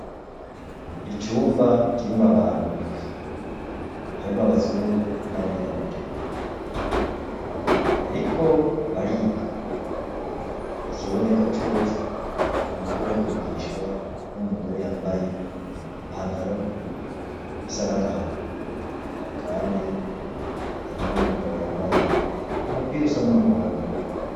Icumba kirimwo abantu ndwi, harimwo abazungu n'abirabure, bariko bariga, ikiboneka coco n'uko bariko barigishwa n'umugore yambaye ipantaro isa n'agahama, kandi harimwo n'umugabo yambaye umupira usa n'umuhondo.